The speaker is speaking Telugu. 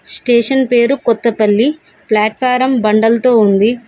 స్టేషన్ పేరు కొత్తపల్లి ప్లాట్ ఫారం బండల్తో ఉంది.